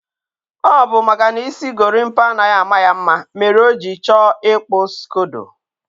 ọ bụ maka na isi gorimapa anaghị ama ya mma mere o jiri chọọ ịkpụ skodo.